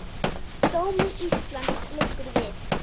Sómi Íslands liggur við.